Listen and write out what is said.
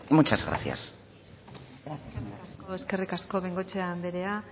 muchas gracias eskerrik asko bengoechea andrea